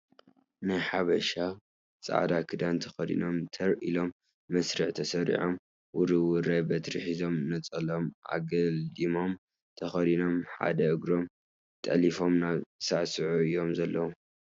ናይ ሓበሻ ፃልዳ ክዳን ተከዲኖም ተር ኢሎም መስርዕ ተሰሪዖም ውርውራይ በትሪ ሒዞም ነፀልኦም ኣገልዲሞም ተከዲኖም ሓደ እግሮም ጠሊፎም እና ሳዕሰዑ እዩም ዘለዉ።